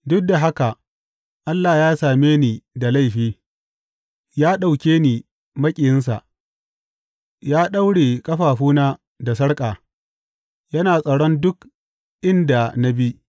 Duk da haka Allah ya same ni da laifi; ya ɗauke ni maƙiyinsa, ya daure ƙafafuna da sarƙa; yana tsaron duk inda na bi.’